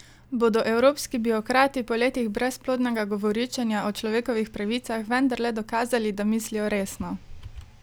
Bodo evropski birokrati po letih brezplodnega govoričenja o človekovih pravicah vendarle dokazali, da mislijo resno?